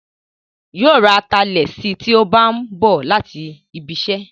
Yóò ra atalẹ̀ sí tí ó bá ń bọ̀ láti ibiṣẹ́